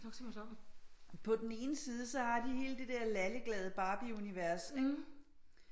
På den ene side så har de hele det der lallegalde barbieunivers